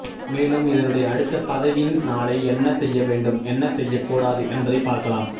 மேலும் இதனுடைய அடுத்த பதிவில் நாளை என்ன செய்ய வேண்டும் என்ன செய்ய கூடாது என்பதை பார்க்கலாம்